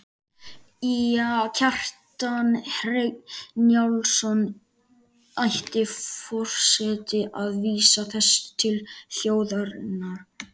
Kjartan Hreinn Njálsson: Ætti forseti að vísa þessu til þjóðarinnar?